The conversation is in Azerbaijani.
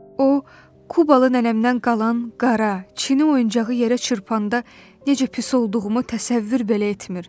O, Kubalı nənəmdən qalan qara, çini oyuncağı yerə çırpanda necə pis olduğumu təsəvvür belə etmir.